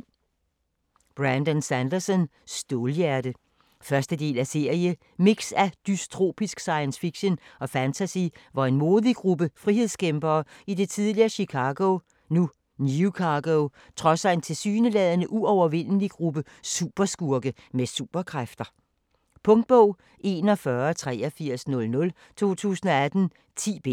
Sanderson, Brandon: Stålhjerte 1. del af serie. Mix af dystopisk science fiction og fantasy, hvor en modig gruppe frihedskæmpere i det tidligere Chicago, nu Newcago, trodser en tilsyneladende uovervindelig gruppe af superskurke med superkræfter. Punktbog 418300 2018. 10 bind.